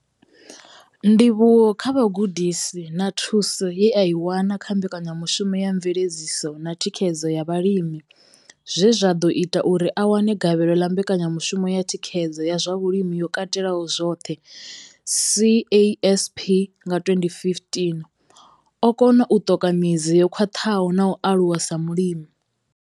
Ndivhuwo kha vhugudisi na thuso ye a i wana kha mbekanyamushumo ya mveledziso na thikhedzo ya vhalimi zwe zwa ḓo ita uri a wane gavhelo ḽa mbekanyamushumo ya thikhedzo ya zwa vhulimi yo katelaho zwoṱhe CASP nga 2015, o kona u ṱoka midzi yo khwaṱhaho na u aluwa sa mulimi.